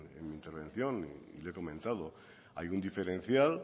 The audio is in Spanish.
en mi intervención y le he comentado hay un diferencial